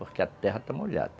Porque a terra está molhada.